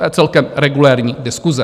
To je celkem regulérní diskuse.